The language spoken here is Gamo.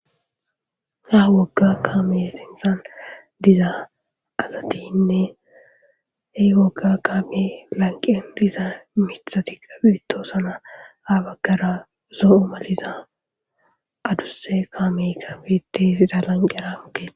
Ha wogga kaame sintan diza azatinne hey wogga kaami lanqen disa mithati qabito sana abaggara zo7u maliza adusse kaame kabetesiza lanqera mokesa.